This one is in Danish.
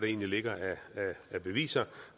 egentlig ligger af beviser